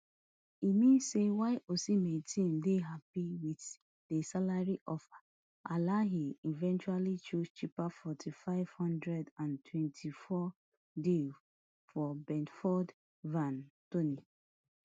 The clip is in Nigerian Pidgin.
e mean say while osimhen team dey happy wit di salary offer alahli eventually choose cheaper fortym five hundred and twenty-fourm deal for brentford ivan toney